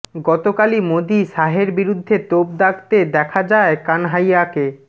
গতকালই মোদী শাহের বিরুদ্ধে তোপ দাগতে দেখা যায় কানহাইয়াকে